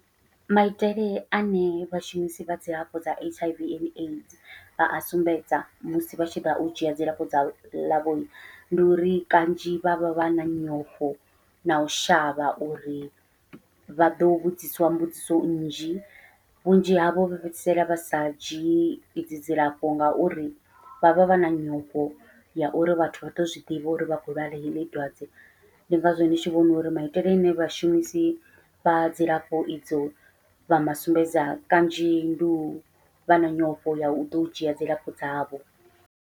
Maitele ane vhashumisi vha dzilafho dza H_I_V and AIDS vha a sumbedza musi vha tshi ḓa u dzhia dzilafho dza ḽavho, ndi uri kanzhi vha vha vha na nyofho nau shavha uri vha ḓo vhudziswa mbudziso nnzhi vhunzhi havho vha fhedzisela vha sa dzhii idzi dzilafho ngauri vha vha vha na nyofho ya uri vhathu vha ḓo zwiḓivha uri vha khou lwala heḽi dwadze. Ndi ngazwo ndi tshi vhona uri maitele ane vhashumisi vha dzilafho idzo vha masumbedza kanzhi ndi uvha na nyofho ya uḓo u dzhia dzilafho dzavho.